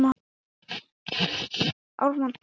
Og svo getur hann líka brugðið fyrir sig íslensku!